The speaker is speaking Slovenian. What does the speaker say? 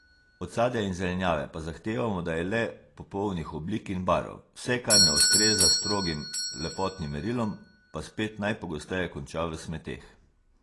Od sadja in zelenjave pa zahtevamo, da je le popolnih oblik in barv, vse, kar ne ustreza strogim lepotnim merilom, pa spet najpogosteje konča v smeteh.